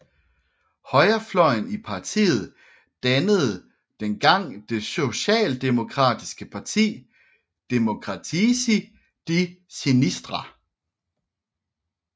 Højrefløjen i partiet dannede dengang det socialdemokratiske parti Democratici di Sinistra